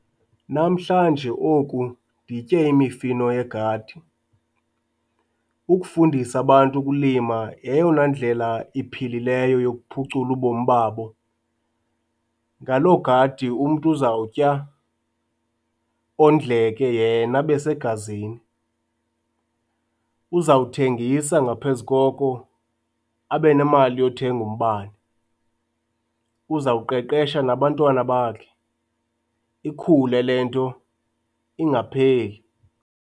Namhlanje oku nditye imifino yegadi. Ukufundisa abantu ukulima yeyona ndlela iphilileyo yokuphucula ubomi babo. Ngaloo gadi umntu uzawutya ondleke yena abe segazini, uzawuthengisa ngaphezu koko abe nemali yothenga umbane. Uzawuqeqesha nabantwana bakhe, ikhule le nto ingapheli.